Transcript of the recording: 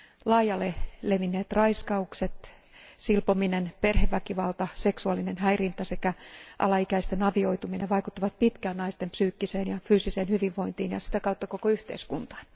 Laajalle levinneet raiskaukset, silpominen, perheväkivalta, seksuaalinen häirintä sekä alaikäisten avioituminen vaikuttavat pitkään naisten psyykkiseen ja fyysiseen hyvinvointiin ja sitä kautta koko yhteiskuntaan.